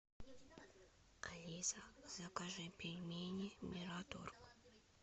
алиса закажи пельмени мираторг